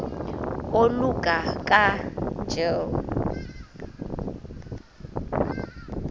oluka ka njl